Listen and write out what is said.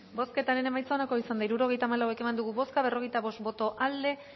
bozketaren emaitza onako izan da hirurogeita hamalau eman dugu bozka berrogeita bost boto aldekoa